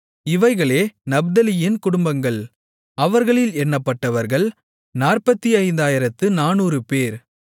இவைகளே நப்தலியின் குடும்பங்கள் அவர்களில் எண்ணப்பட்டவர்கள் 45400 பேர்